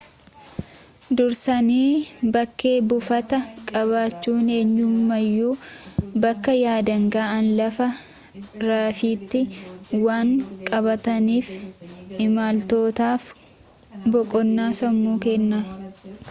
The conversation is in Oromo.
dursanii bakkee buufataa qabachuunyemmuu bakka yaadan ga'an lafa rafiitii waan qabaataniif imaltootaaf boqonnaa sammuu kenna